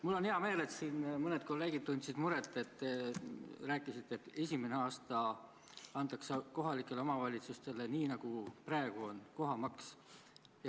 Mul on hea meel, et siin mõned kolleegid tundsid muret, et te rääkisite, et esimene aasta antakse kohalikele omavalitsustele raha lähtudes praegusest kohatasust.